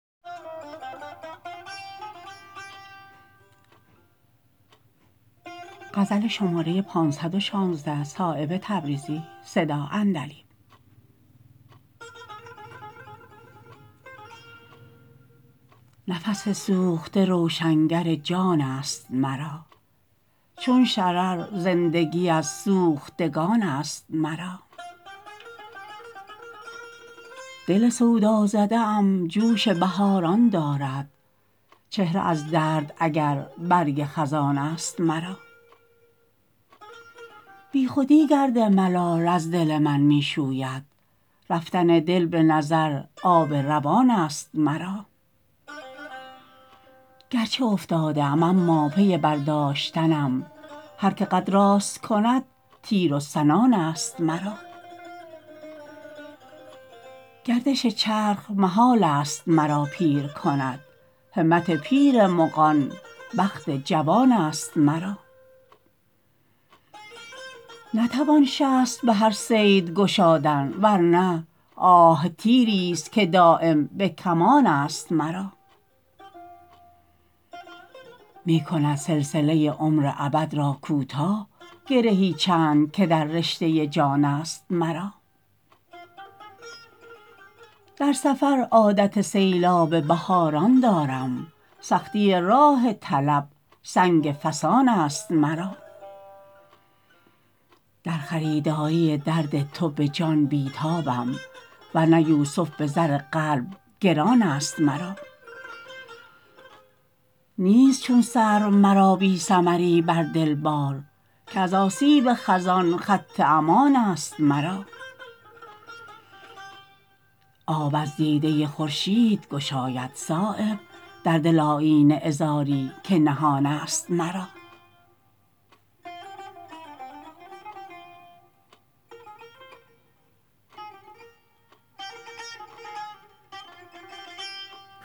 نفس سوخته روشنگر جان است مرا چون شرر زندگی از سوختگان است مرا دل سودا زده ام جوش بهاران دارد چهره از درد اگر برگ خزان است مرا بیخودی گرد ملال از دل من می شوید رفتن دل به نظر آب روان است مرا گرچه افتاده ام اما پی برداشتنم هر که قد راست کند تیر و سنان است مرا گردش چرخ محال است مرا پیر کند همت پیر مغان بخت جوان است مرا نتوان شست به هر صید گشادن ورنه آه تیری است که دایم به کمان است مرا می کند سلسله عمر ابد را کوتاه گرهی چند که در رشته جان است مرا در سفر عادت سیلاب بهاران دارم سختی راه طلب سنگ فسان است مرا در خریداری درد تو به جان بی تابم ورنه یوسف به زر قلب گران است مرا نیست چون سرو مرا بی ثمری بر دل بار که ز آسیب خزان خط امان است مرا آب از دیده خورشید گشاید صایب در دل آیینه عذاری که نهان است مرا